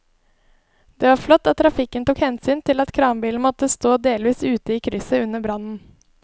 Det var flott at trafikken tok hensyn til at kranbilen måtte stå delvis ute i krysset under brannen.